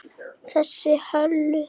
Þessa Höllu!